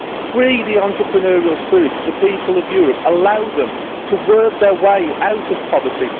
Free the entrepreneurial spirit of the people of Europe, allow them to work their way out of poverty